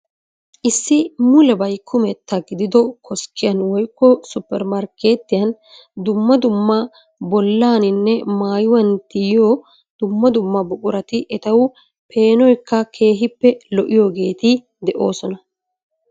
Issi mulebayi kumetta gidido koskiyan woyikko suppermarkkettiyan dumma dumma bollaaninne maayuwan tiyyiyo dumma dumma buqurati etawu peenoyikka keehippe lo'iyoogeeti de'oosona.